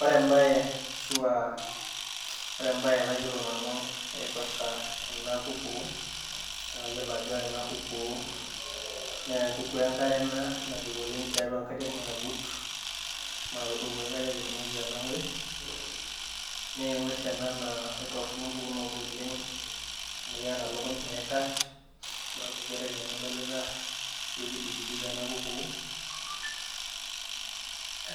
Ore embae ashu a ,ore embae nayiolo nanu naipirta ena kuku, na kayiolo ajo ore enakukuu na enkukuu enkare ena nabik tiatua enkare nagut, mapokiare etumieki ena ngues na engwes ana na ketotonok mpukunot olengamu keeta lukuny naikaah amu ore ensohi kayapidol